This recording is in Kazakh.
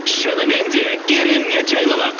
шынымен де керемет жайлылық